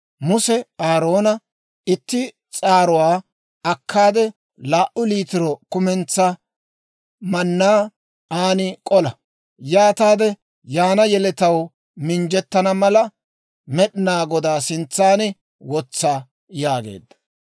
Muse Aaroona, «itti s'aaruwaa akkaade laa"u liitiro kumentsaa mannaa an k'ola; yaataade yaana yeletaw minjjettana mala, Med'inaa Godaa sintsan wotsa» yaageedda.